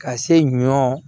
Ka se ɲɔ